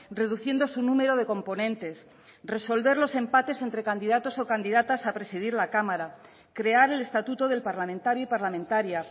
reduciendo su número de componentes resolver los empates entre candidatos o candidatas a presidir la cámara crear el estatuto del parlamentario y parlamentaria